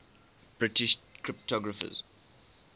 british cryptographers